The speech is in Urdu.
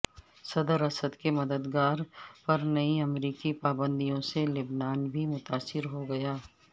صدر اسد کے مددگاروں پر نئی امریکی پابندیوں سے لبنان بھی متاثر ہو گا